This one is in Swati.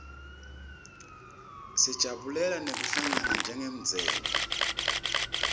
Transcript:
sijabulela nekuhlangana njengemndzeni